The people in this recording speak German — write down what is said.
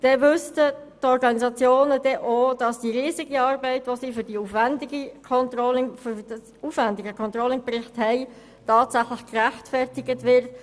So wüssten die Organisationen dann auch, dass die immense Arbeit, die sie jeweils für die aufwendigen Controlling-Berichte leisten, tatsächlich gerechtfertigt ist.